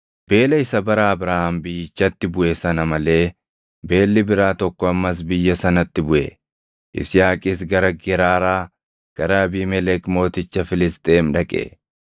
Beela isa bara Abrahaam biyyichatti buʼe sana malee beelli biraa tokko ammas biyya sanatti buʼe; Yisihaaqis gara Geraaraa gara Abiimelek mooticha Filisxeem dhaqe.